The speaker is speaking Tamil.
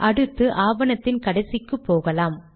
அடுத்து ஆவணத்தின் கடைசிக்கு போகலாம்